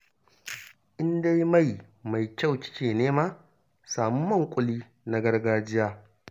In dai mai mai kyau kike nema, samu man ƙuli na gargajiya